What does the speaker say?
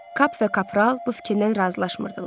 Kap və kapral bu fikirlə razılaşmırdılar.